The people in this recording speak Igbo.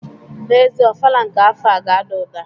N'ezie, ofala nke afọ a ga-ada ụda.